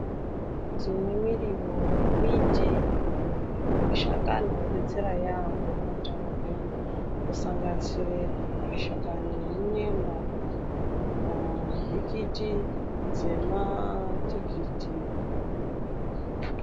Tine miriwo yemimbiti yemashakani anodetsera yaamho muutano hedu kusanganisire mashakani emunyemba, nhikiti dzematikiti.